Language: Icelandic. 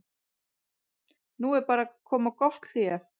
Nú er bara að koma gott hlé.